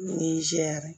Nizeriya